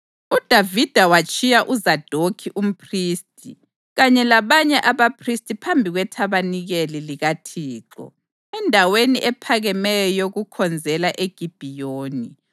UDavida watshiya uZadokhi umphristi kanye labanye abaphristi phambi kwethabanikeli likaThixo endaweni ephakemeyo yokukhonzela eGibhiyoni